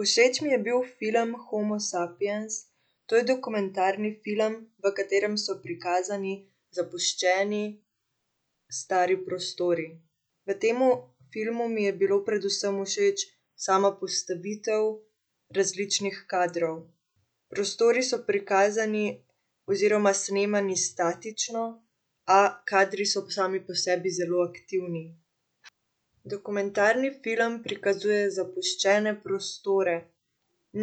Všeč mi je bil film Homo Sapiens. To je dokumentarni film, v katerem so prikazani zapuščeni, stari prostori. V temu filmu mi je bila predvsem všeč sama postavitev različnih kadrov. Prostori so prikazani oziroma snemani statično, a kadri so sami po sebi zelo aktivni. Dokumentarni film prikazuje zapuščene prostore.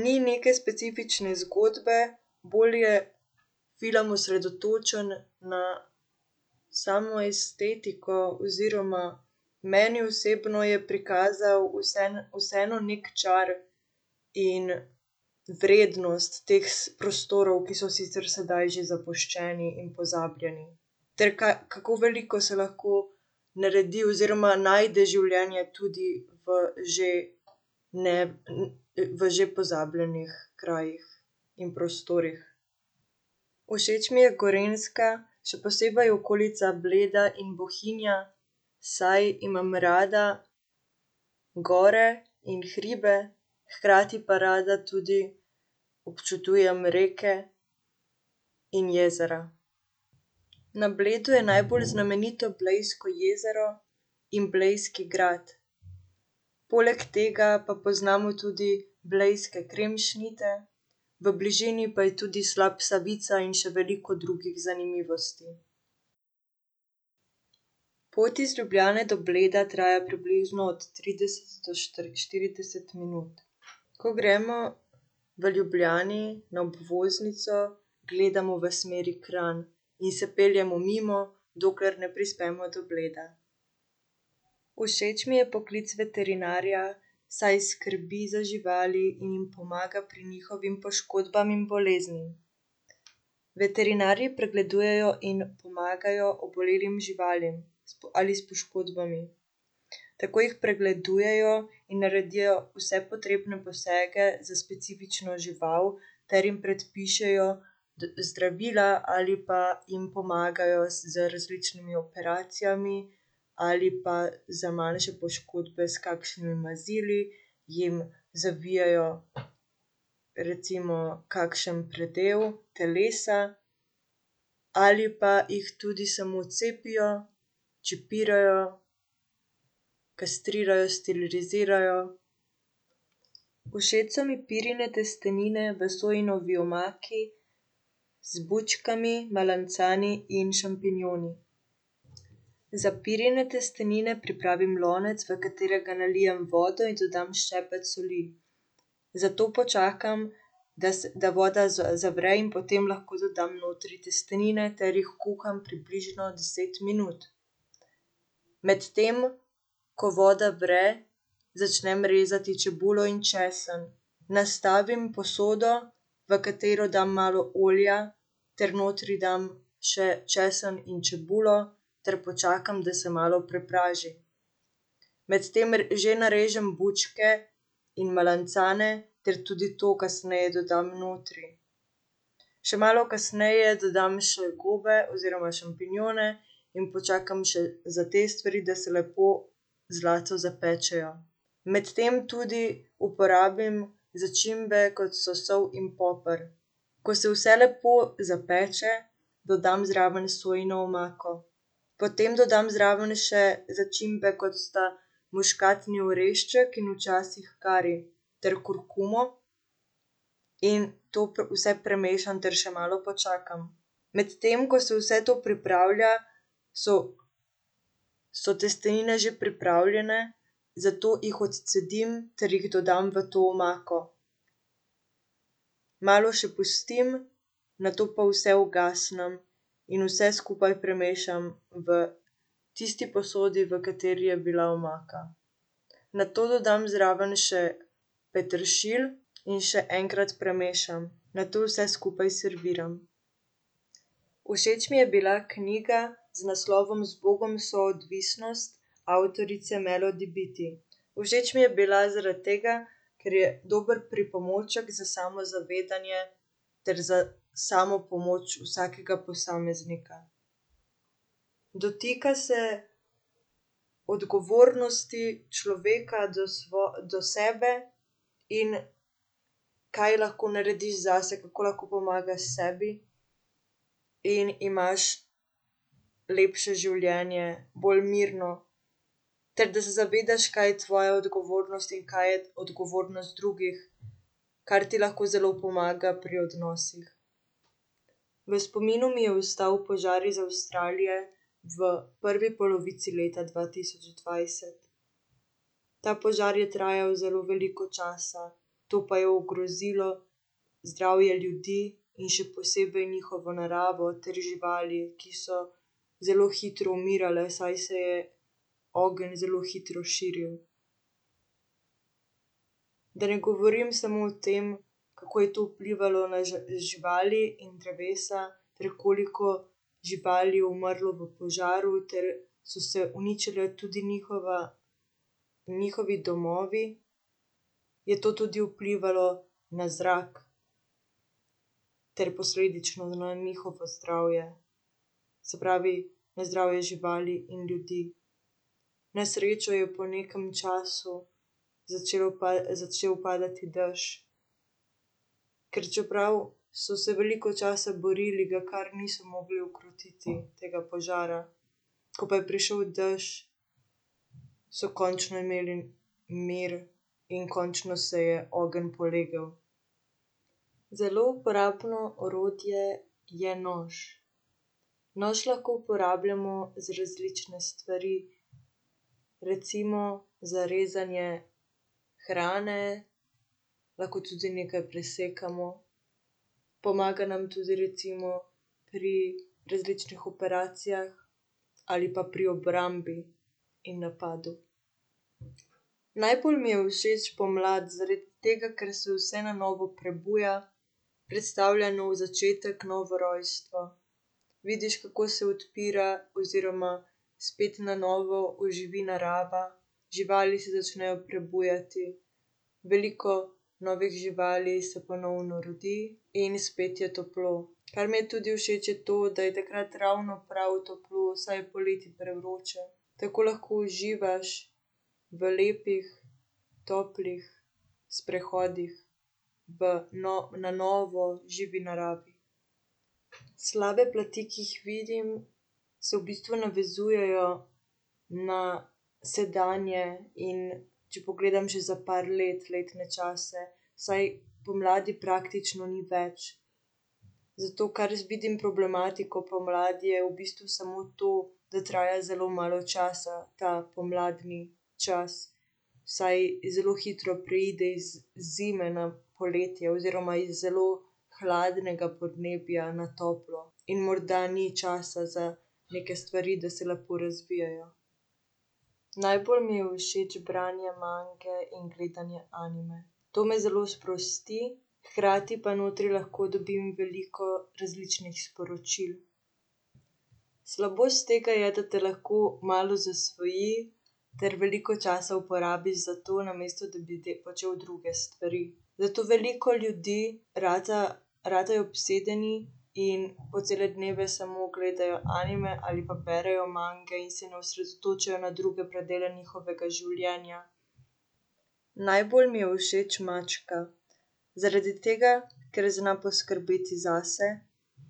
Ni neke specifične zgodbe, bolj je film osredotočen na samo estetiko oziroma meni osebno je prikazal vseeno neki čar in vrednost teh prostorov, ki so sicer sedaj že zapuščeni in pozabljeni, ter kako veliko se lahko naredi oziroma najde življenje tudi v že v že pozabljenih krajih in prostorih. Všeč mi je Gorenjska. Še posebej okolica Bleda in Bohinja, saj imam rada gore in hribe, hkrati pa rada tudi občudujem reke in jezera. Na Bleda je najbolj znamenito Blejsko jezero in blejski grad. Poleg tega pa poznamo tudi blejske kremšnite, v bližini pa je tudi slap Savica in še veliko drugih zanimivosti. Pot iz Ljubljane do Bleda traja približno od trideset do štirideset minut. Ko gremo v Ljubljani na obvoznico, gledamo v smeri Kranj in se peljemo mimo, dokler ne prispemo do Bleda. Všeč mi je poklic veterinarja, saj skrbi za živali in jim pomaga pri njihovih poškodbah in boleznih. Veterinarji pregledujejo in pomagajo obolelim živalim ali s poškodbami. Tako jih pregledujejo in naredijo vse potrebne posege za specifično žival ter jim predpišejo zdravila ali pa jim pomagajo z različnimi operacijami ali pa za manjše poškodbe s kakšnimi mazili, jim zavijajo recimo kakšen predel telesa ali pa jih tudi samo cepijo, čipirajo, kastrirajo, sterilizirajo. Všeč so mi pirine testenine v sojini omaki z bučkami, melancani in šampinjoni. Za pirine testenine pripravim lonec, v katerega nalijem vodo in dodam ščepec soli. Za to počakam, da da voda zavre, in potem lahko dodam notri testenine ter jih kuham približno deset minut. Medtem ko voda vre, začnem rezati čebulo in česen. Nastavim posodo, v katero dam malo olja ter notri dam še česen in čebulo ter počakam, da se malo prepraži. Medtem že narežem bučke in melancane ter tudi to kasneje dodam notri. Še malo kasneje dodam še gobe oziroma šampinjone in počakam še za te stvari, da se lepo zlato zapečejo. Medtem tudi uporabim začimbe, kot so sol in poper. Ko se vse lepo zapeče, dodam zraven sojino omako. Potem dodam zraven še začimbe, kot sta muškatni orešček in včasih kari, ter kurkumo in to vse premešam ter še malo počakam. Medtem ko se vse to pripravlja, so so testenine že pripravljene, zato jih odcedim ter jih dodam v to omako. Malo še pustim, nato pa vse ugasnem in vse skupaj premešam v tisti posodi, v kateri je bila omaka. Nato dodam zraven še peteršilj in še enkrat premešam. Nato vse skupaj serviram. Všeč mi je bila knjiga z naslovom Zbogom, soodvisnost avtorice Melody Beattie. Všeč mi je bila zaradi tega, ker je dober pripomoček za samozavedanje ter za samopomoč vsakega posameznika. Dotika se odgovornosti človeka do do sebe in kaj lahko narediš zase, kako lahko pomagaš sebi, in imaš lepše življenje, bolj mirno, ter da se zavedaš, kaj je tvoja odgovornost in kaj je odgovornost drugih, kar ti lahko zelo pomaga pri odnosih. V spominu mi je ostal požar iz Avstralije v prvi polovici leta dva tisoč dvajset. Ta požar je trajal zelo veliko časa. To pa je ogrozilo zdravje ljudi in še posebej njihovo naravo ter živali, ki so zelo hitro umirale, saj se je ogenj zelo hitro širil. Da ne govorim samo o tem, kako je to vplivalo na živali in drevesa, ter koliko živali je umrlo v požaru ter so se uničili tudi njihova, njihovi domovi, je to tudi vplivalo na zrak ter posledično na njihovo zdravje. Se pravi, na zdravje živali in ljudi. Na srečo je po nekem času začelo začel padati dež. Ker čeprav so se veliko časa borili, ga kar niso mogli ukrotiti. Tega požara. Ko pa je prišel dež, so končno imeli mir in končno se je ogenj polegel. Zelo uporabno orodje je nož. Nož lahko uporabljamo za različne stvari. Recimo za rezanje hrane, lahko tudi nekaj presekamo. Pomaga nam tudi recimo pri različnih operacijah ali pa pri obrambi in napadu. Najbolj mi je všeč pomlad, zaradi tega, ker se vse na novo prebuja, predstavlja nov začetek, novo rojstvo. Vidiš, kako se odpira oziroma spet na novo oživi narava, živali se začnejo prebujati, veliko novih živali se ponovno rodi in spet je toplo. Kar mi je tudi všeč, je to, da je takrat ravno prav toplo, saj je poleti prevroče. Tako lahko uživaš v lepih, toplih sprehodih v na novo živi naravi. Slabe plati, ki jih vidim, se v bistvu navezujejo na sedanje, in če pogledam že za par let, letne čase, saj pomladi praktično ni več. Zato kar vidim problematiko pomladi, je v bistvu samo to, da traja zelo malo časa ta pomladni čas, saj zelo hitro preide iz zime na poletje oziroma iz zelo hladnega podnebja na toplo in morda ni časa za neke stvari, da se lepo razvijejo. Najbolj mi je všeč branje mange in gledanje anime. To me zelo sprosti, hkrati pa notri lahko dobim veliko različnih sporočil. Slabost tega je, da te lahko malo zasvoji ter veliko časa uporabiš za to, namesto da bi počel druge stvari. Zato veliko ljudi rata, ratajo obsedeni in po cele dneve samo gledajo anime ali pa berejo mange in se ne osredotočijo na druge predele njihovega življenja. Najbolj mi je všeč mačka, zaradi tega, ker zna poskrbeti zase,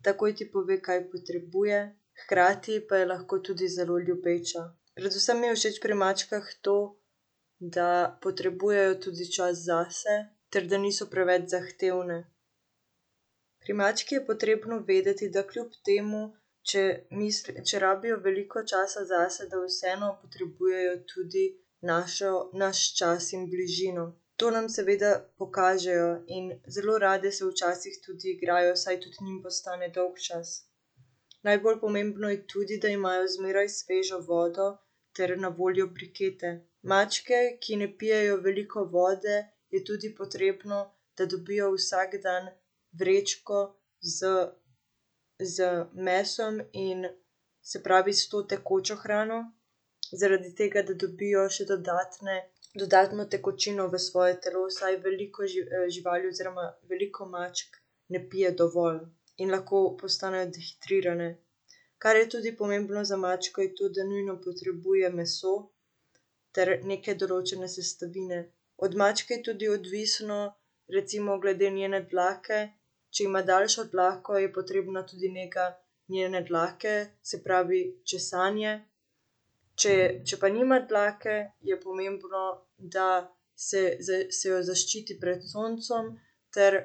takoj ti pove, kaj potrebuje, hkrati pa je lahko tudi zelo ljubeča. Predvsem mi je všeč pri mačkah to, da potrebujejo tudi čas zase ter da niso preveč zahtevne. Pri mački je potrebno vedeti, da kljub temu, če če rabijo veliko časa zase, da vseeno potrebujejo tudi našo, naš čas in bližino. To nam seveda pokažejo in zelo rade se včasih tudi igrajo, saj tudi njim postane dolgčas. Najbolj pomembno je tudi, da imajo zmeraj svežo vodo ter na voljo brikete. Mačke, ki ne pijejo veliko vode, je tudi potrebno, da dobijo vsak dan vrečko z z mesom in, se pravi, s to tekočo hrano, zaradi tega, da dobijo še dodatne, dodatno tekočino v svoje telo, saj veliko živali oziroma veliko mačk ne pije dovolj in lahko postanejo dehidrirane. Kar je tudi pomembno za mačko, je to, da nujno potrebuje meso ter neke določene sestavine. Od mačke je tudi odvisno recimo glede njene dlake. Če ima daljšo dlako, je potrebna tudi nega njene dlake, se pravi česanje, če, če pa nima dlake, je pomembno, da se se jo zaščiti pred soncem ter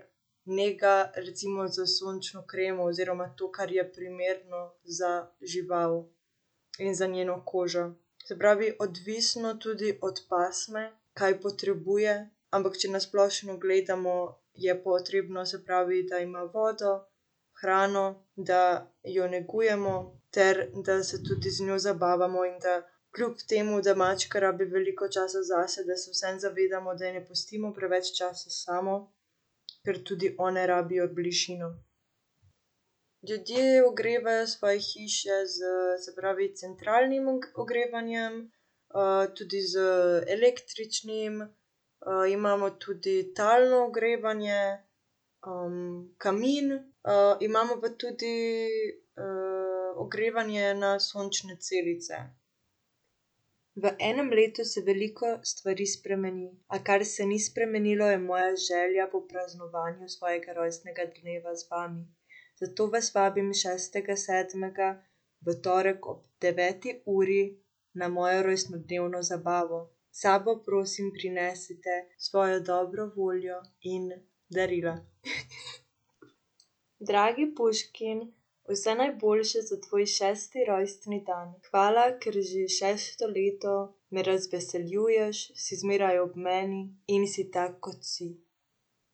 nega recimo s sončno kremo oziroma to, kar je primerno za žival in za njeno kožo. Se pravi, odvisno tudi od pasme, kaj potrebuje, ampak če na splošno gledamo, je potrebno, se pravi, da ima vodo, hrano, da jo negujemo ter da se tudi z njo zabavamo, in da kljub temu da mačka rabi veliko časa zase, da se vseeno zavedamo, da je ne pustimo preveč časa samo, ker tudi one rabijo bližino. Ljudje ogrevajo svoje hiše s, se pravi, centralnim ogrevanjem, tudi z električnim, imamo tudi talno ogrevanje, kamin, imamo pa tudi, ogrevanje na sončne celice. V enem letu se veliko stvari spremeni, a kar se ni spremenilo, je moja želja po praznovanju svojega rojstnega dneva z vami. Zato vas vabim šestega sedmega v torek ob deveti uri na mojo rojstnodnevno zabavo. S sabo, prosim, prinesite svojo dobro voljo in darila. Dragi Puškin, vse najboljše za tvoj šesti rojstni dan. Hvala, ker že šesto leto me razveseljuješ, si zmeraj ob meni in si tak, kot si.